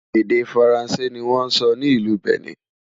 èdè faransé ní wón sò ní ìlú Benin